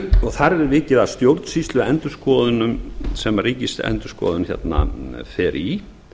og þar er vikið að stjórnsýsluendurskoðunum sem ríkisendurskoðun fer í